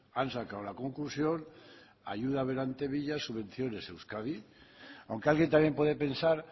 han sacado la conclusión ayuda berantevilla subvenciones euskadi aunque alguien también puede pensar